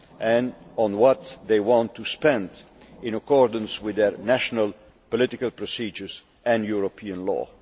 and how they want to spend, in accordance with their national political procedures and European law.